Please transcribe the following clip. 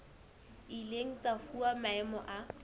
ileng tsa fuwa maemo a